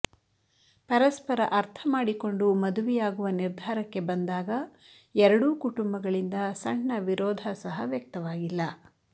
ಪರಸ್ಪರ ಅರ್ಥ ಮಾಡಿಕೊಂಡು ಮದುವೆಯಾಗುವ ನಿರ್ಧಾರಕ್ಕೆ ಬಂದಾಗ ಎರಡೂ ಕುಟುಂಬಗಳಿಂದ ಸಣ್ಣ ವಿರೋಧ ಸಹ ವ್ಯಕ್ತವಾಗಿಲ್ಲ